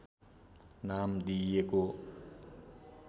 नाम दिइएको